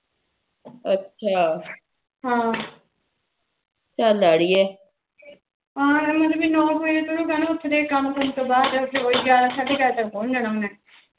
ਕੰਮ ਕੁਮ ਤੋ ਬਾਅਦ ਫਿਰ ਉਹੀ ਗਿਆਰਾਂ ਸਾਡੇ ਗਿਆਰਾ ਬਜੇ ਤੱਕ ਪਹੁੰਚ ਜਾਣਾ ਉਹਨੇ